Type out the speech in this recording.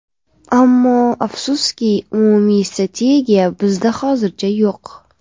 Ammo afsuski umumiy strategiya bizda hozircha yo‘q.